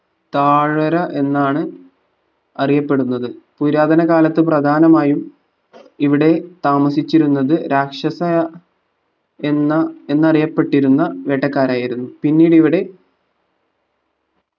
തായ്‌വര എന്നാണ് അറിയപ്പെടുന്നത് പുരാതന കാലത്ത് പ്രദാനമായും ഇവിടെ താമസിച്ചിരുന്നത് രാക്ഷസ എന്ന എന്നറിയപ്പെട്ടിരുന്ന വേട്ടക്കാരായിരുന്നു പിന്നീട് ഇവിടെ